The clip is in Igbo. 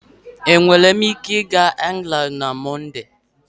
Enwere m ike ịga England na Mọnde?